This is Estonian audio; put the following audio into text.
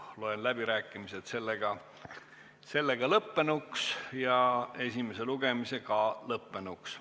Loen läbirääkimised lõppenuks ja ka esimese lugemise lõppenuks.